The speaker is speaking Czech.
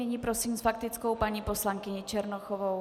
Nyní prosím s faktickou paní poslankyni Černochovou.